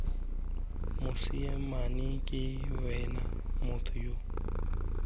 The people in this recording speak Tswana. mosimane ke wena motho yo